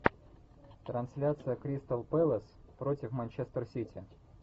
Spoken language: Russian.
трансляция кристал пэлас против манчестер сити